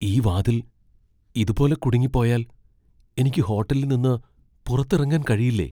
ഈ വാതിൽ ഇതുപോലെ കുടുങ്ങിപ്പോയാൽ എനിക്ക് ഹോട്ടലിൽ നിന്ന് പുറത്തിറങ്ങാൻ കഴിയില്ലേ?